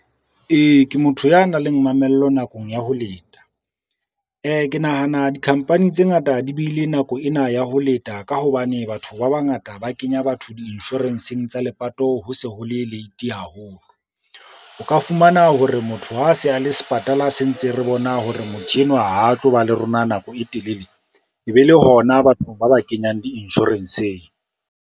Ee, ke motho ya nang le mamello nakong ya ho leta. Ke nahana dikhampani tse ngata di beile nako ena ya ho leta ka hobane batho ba bangata ba kenya batho di-insurance-eng tsa lepato, ho se ho le late haholo. O ka fumana hore motho ha a se a le sepatala, se ntse re bona hore motho enwa ha a tlo ba le rona nako e telele, e be le hona batho ba ba kenyang di-insurance-eng.